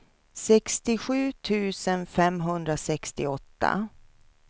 sextiosju tusen femhundrasextioåtta